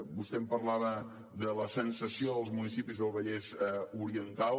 vostè em parlava de la sensació dels municipis del vallès oriental